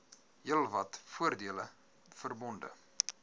heelwat voordele verbonde